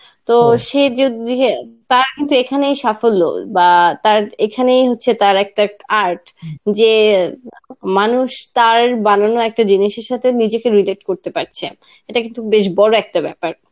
তো সে য~ যদ~ যে তার কিন্তু এখানেই সাফল্য বা তার এখানেই হচ্ছে তার একটা art যে মানুষ তার বানানো একটা জিনিসের সাথে নিজেকে relate করতে পারছে. এটা কিন্তু বেশ বড় একটা ব্যাপার.